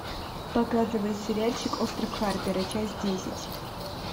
показывай сериальчик остров харпера часть десять